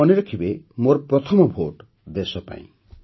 ଆଉ ମନେ ରଖିବେ ମୋର ପ୍ରଥମ ଭୋଟ ଦେଶ ପାଇଁ